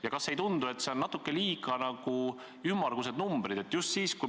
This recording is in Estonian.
Ja kas teile ei tundu, et need on natuke liiga ümmargused numbrid?